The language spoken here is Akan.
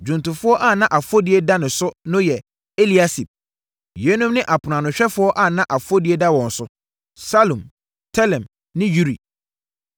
Dwomtofoɔ a na afɔdie da ne so no yɛ: Eliasib. Yeinom ne aponoanohwɛfoɔ a na afɔdie da wɔn so: Salum, Telem ne Uri.